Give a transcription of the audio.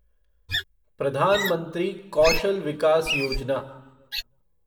प्रधान मंत्री कौशल विकास योजना